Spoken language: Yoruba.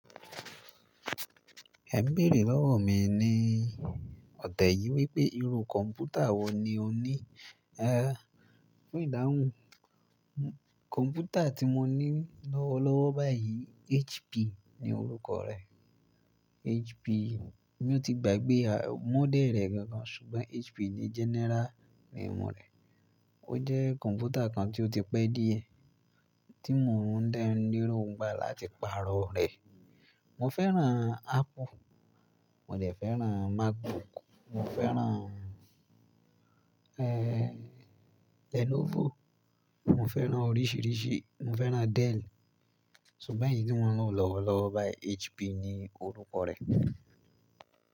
Ẹ bèerè lọ́wọ̀ mi ni i ọ̀tẹ yi wípé irú kọ̀npútà wo ni o ni? Fún ìdáhùn, kọ̀npútà tí mo ní lọ́wọ́lọ́wọ́ báyìí HP ni orúkọ rẹ̀. HP, mi ò tí gba gbé à mọ́dẹ̀ rẹ̀ gan gan ṣùgbọ́n HP ni jenera nemú rẹ̀. Ó jẹ́ kọ̀npútà kan tí ó ti pẹ́ díẹ̀ tí mo ń de n léro n gbà láti pààrọ̀ rẹ̀. Mo fẹ́ràn Apple, mo dẹ̀ fẹ́ràn MacBook, mo fẹ́ràn, Lenovo, mo fẹ́ràn oríṣìíríṣìí, mo fẹ́ràn Dell. Ṣùgbọ́n èyí tí mò ń lò lọ́wọ́lọ́wọ́ báyìí HP ni orúkọ rẹ̀.